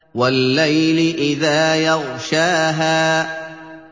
وَاللَّيْلِ إِذَا يَغْشَاهَا